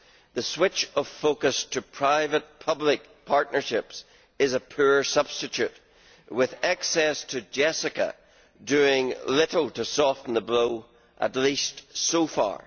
The switch of focus to private public partnerships is a poor substitute with access to JESSICA doing little to soften the blow, at least so far.